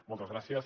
moltes gràcies